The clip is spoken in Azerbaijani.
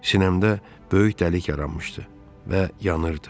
Sinəmdə böyük dəlik yaranmışdı və yanırdı.